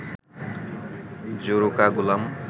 জোরু কা গুলাম